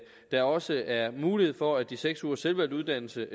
der også er mulighed for at de seks ugers selvvalgt uddannelse